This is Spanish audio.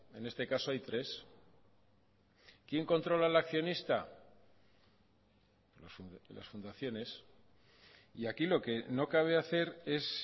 en este caso hay tres quien controla al accionista las fundaciones y aquí lo que no cabe hacer es